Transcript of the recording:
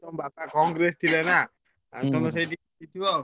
ତମ ବାପା କଂଗ୍ରେସ ଥିଲେ ନାଁ ଆଉ ତମେ ସେଇଠି ଜିତିବ ଆଉ।